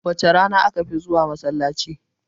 Wace rana aka fi zuwa masallaci?